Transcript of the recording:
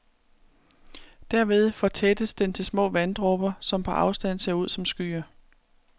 Derved fortættes den til små vanddråber, som på afstand ser ud som skyer.